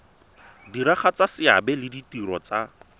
diragatsa seabe le ditiro tsa